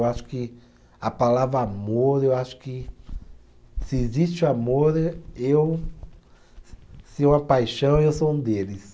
Eu acho que a palavra amor, eu acho que se existe amor, eu. Se é uma paixão, eu sou um deles.